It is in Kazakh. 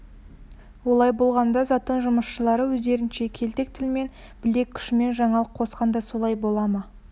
олай болғанда затон жұмысшылары өздерінше келтек тілмен білек күшімен жаңалық қосқан да солай бола ма